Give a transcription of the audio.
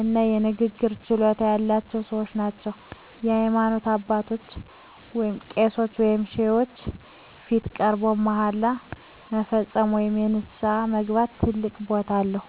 እና የንግግር ችሎታ ያላቸው ሰዎች ናቸው። በሃይማኖት አባቶች (ቄሶች ወይም ሼኮች) ፊት ቀርቦ መሃላ መፈጸም ወይም ንስሐ መግባት ትልቅ ቦታ አለው።